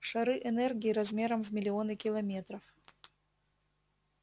шары энергии размером в миллионы километров